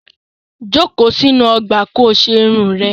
Jókòó sínú ọgbà ko ṣe irun rẹ!